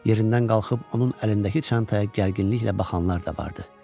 Yerindən qalxıb onun əlindəki çantaya gərginliklə baxanlar da vardı.